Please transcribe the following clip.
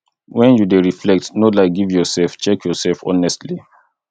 when you dey reflect no lie give yourself check your self honestly